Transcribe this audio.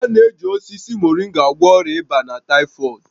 A na-eji osisi Moringa agwọ ọrịa ịba na taịfọdụ